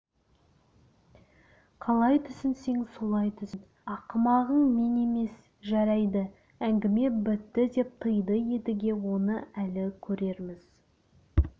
қалай түсінсең солай түсін ақымағың мен емес жарайды әңгіме бітті деп тыйды едіге оны әлі көрерміз